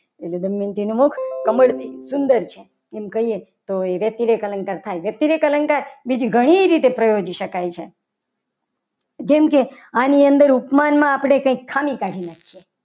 એટલે દમયંતી નું મુખ કમળથી સુંદર છે. એમ કહીએ તો એ વ્યક્તિ લેખ અલંકાર થાય. વ્યક્તિ એક અલંકાર બીજી ઘણી રીતે પ્રયોજી શકાય છે. જેમ કે આની અંદર ઉપમાનમાં આપણે કંઈક સળી કરી નાખીએ.